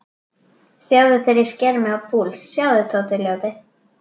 Sjáðu þegar ég sker mig á púls, sjáðu, Tóti ljóti.